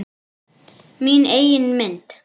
Mína eigin mynd.